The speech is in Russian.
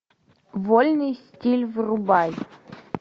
вольный стиль врубай